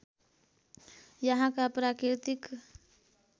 यहाँका प्राकृतिक